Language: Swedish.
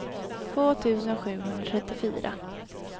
två tusen sjuhundratrettiofyra